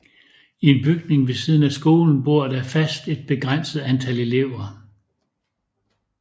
I en bygning ved siden af skolen bor der fast et begrænset antal elever